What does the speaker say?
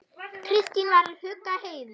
Kristín var að hugga Heiðu.